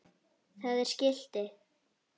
Það er skilti.